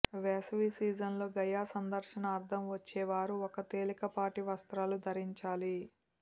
వేసవి సీజన్లో గయా సందర్శనార్ధం వచ్చే వారు ఒక తేలికపాటి వస్త్రాలు ధరించాలి